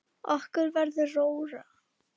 Og okkur verður rórra.